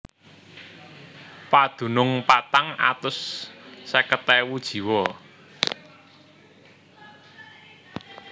Padunung patang atus seket ewu jiwa